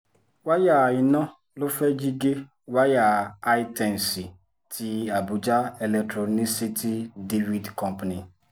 wáyà iná ló fẹ́ẹ̀ jí gé wáyà hightensi ti àbújá electronicity divid company